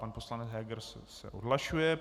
Pan poslanec Heger se odhlašuje.